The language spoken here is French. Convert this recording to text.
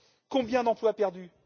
Combien d'emplois perdus?